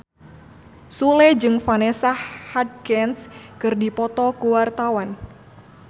Sule jeung Vanessa Hudgens keur dipoto ku wartawan